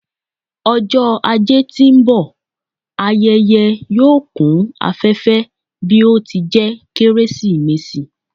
Ọjọ ajé ti n bọ, ayẹyẹ yoo kun afẹfẹ bi o ti jẹ Keresimesi